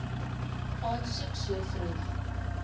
aansoek so vroeg